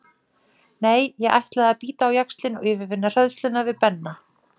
Nei, ég ætlaði að bíta á jaxlinn og yfirvinna hræðsluna við Benna.